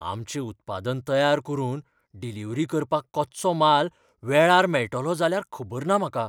आमचें उत्पादन तयार करून डिलिव्हरी करपाक कच्चो म्हाल वेळार मेळटलो जाल्यार खबर ना म्हाका.